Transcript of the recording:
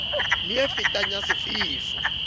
a fetang le a sefefo